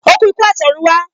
O ku ikú atorunwa